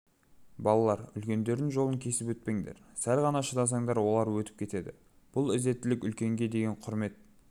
балалар үлкендердің жолын кесіп өтпеңдер сәл ғана шыдасаңдар олар өтіп кетеді бұл ізеттілік үлкенге деген құрмет